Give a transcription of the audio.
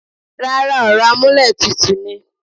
Rárá, ọ̀rọ̀ amúlẹ̀tutù ni.